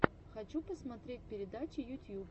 хочу посмотреть передачи ютьюб